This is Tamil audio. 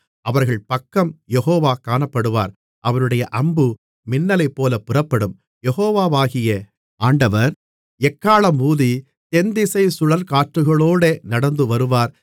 அவர்கள் பக்கம் யெகோவா காணப்படுவார் அவருடைய அம்பு மின்னலைப்போலப் புறப்படும் யெகோவாகிய ஆண்டவர் எக்காளம் ஊதி தென்திசைச் சுழல்காற்றுகளோடே நடந்துவருவார்